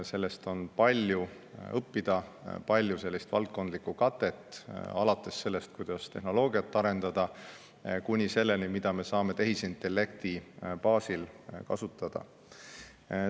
Sellest on palju õppida, palju sellist valdkondlikku katet, alates sellest, kuidas tehnoloogiat arendada, kuni selleni, mida me saame tehisintellekti baasil kasutada.